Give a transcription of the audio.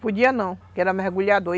Podia não, porque era mergulhador.